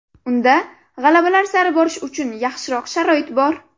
Unda g‘alabalar sari borish uchun yaxshiroq sharoit bor.